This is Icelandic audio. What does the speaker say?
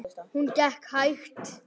Hún gekk hægt.